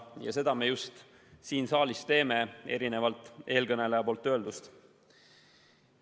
Ja seda me just siin saalis teemegi, vastupidi eelkõneleja öeldule.